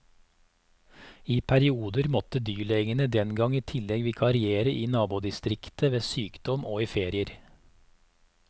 I perioder måtte dyrlegene den gang i tillegg vikariere i nabodistriktet ved sykdom og i ferier.